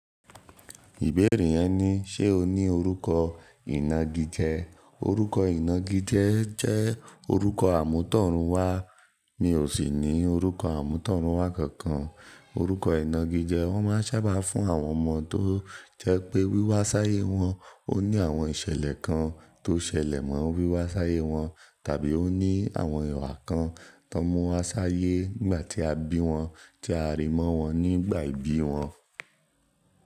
Ìbéèrè yẹn ni: ṣe o ní orúkọ ìnagijẹ? Orúkọ ìnagijẹ jẹ́ orúkọ àmútọ̀runwá. Mi ò sì ní orúkọ àmútọ̀runwá kankan. Orúkọ ìnagijẹ wọ́n máa ń sábà fún àwọn ọmọ tó jẹ́ pé wíwá sáyé wọn ó ní àwọn ìṣẹ̀lẹ̀ kan tó ṣẹlẹ̀ mọ́ wíwá sáyé wọn, tàbí ó ní àwọn ìwà kan tó mú wọn sáyé nígbà tí a bí wọn, tí a rí mọ́ wọn nígbà ìbí wọn.